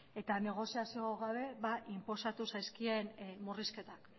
eta negoziazio gabe inposatu zaizkien murrizketak